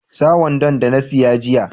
Sa wandon da na siya jiya.